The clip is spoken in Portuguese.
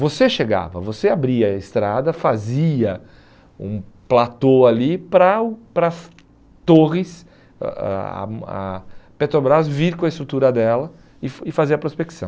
Você chegava, você abria a estrada, fazia um platô ali para o para as torres, ãh ãh a a Petrobras vir com a estrutura dela e fa e fazer a prospecção.